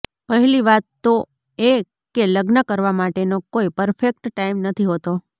પહેલી વાત તો એ કે લગ્ન કરવા માટેનો કોઈ પરફેક્ટ ટાઈમ નથી હોતો